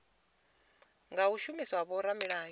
nga u shumiswa ha vhoramilayo